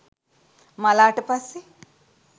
මළාට පස්සෙ